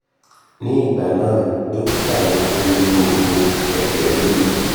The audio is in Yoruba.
ní ìgbà náà dọ́kítà ní kí n lo òògù ẹ̀jẹ̀ ríru